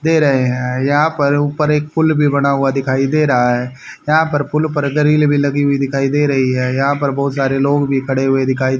दे रहे हैं यहां पर ऊपर एक पुल भी बना हुआ दिखाई दे रहा है यहां पर पुल पर ग्रिल भी लगी हुई दिखाई दे रही है यहां पर बहुत सारे लोग भी खड़े हुए दिखाई--